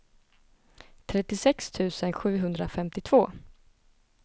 trettiosex tusen sjuhundrafemtiotvå